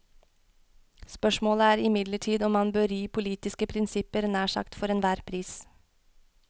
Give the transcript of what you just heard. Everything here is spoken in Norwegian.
Spørsmålet er imidlertid om man bør ri politiske prinsipper nær sagt for enhver pris.